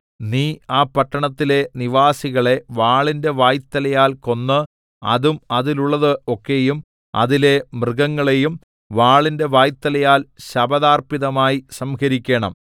നീ ആ പട്ടണത്തിലെ നിവാസികളെ വാളിന്റെ വായ്ത്തലയാൽ കൊന്ന് അതും അതിലുള്ളത് ഒക്കെയും അതിലെ മൃഗങ്ങളെയും വാളിന്റെ വായ്ത്തലയാൽ ശപഥാർപ്പിതമായി സംഹരിക്കേണം